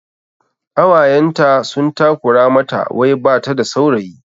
Ƙawayenta sun takura mata wai bata da saurayi